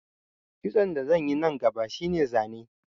Kitson da zan yi nan gaba shi ne zane